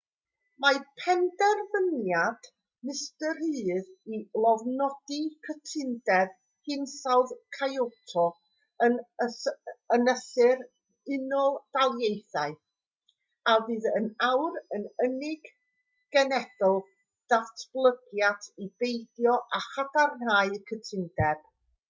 mae penderfyniad mr rudd i lofnodi cytundeb hinsawdd kyoto yn ynysu'r unol daleithiau a fydd yn awr yr unig genedl ddatblygedig i beidio â chadarnhau'r cytundeb